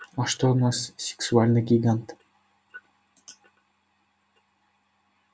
а что наш сексуальный гигант